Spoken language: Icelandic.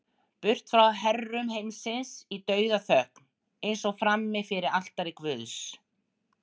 Burt frá herrum heimsins í dauðaþögn, eins og frammi fyrir altari guðs.